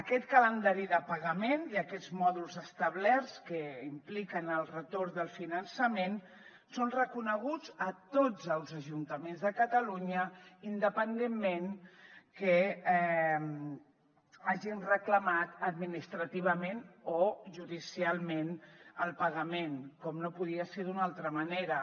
aquest calendari de pagament i aquests mòduls establerts que impliquen el retorn del finançament són reconeguts a tots els ajuntaments de catalunya independentment que hagin reclamat administrativament o judicialment el pagament com no podia ser d’una altra manera